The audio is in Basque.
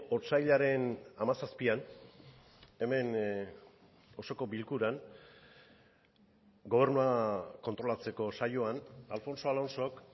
otsailaren hamazazpian hemen osoko bilkuran gobernua kontrolatzeko saioan alfonso alonsok